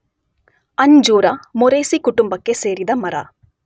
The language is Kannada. ಅಂಜೂರ ಮೊರೇಸೀ ಕುಟುಂಬಕ್ಕೆ ಸೇರಿದ ಮರ.